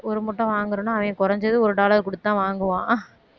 ஒரு முட்டை வாங்கறதுனா அவன் குறைஞ்சது ஒரு dollar குடுத்துதான் வாங்குவான்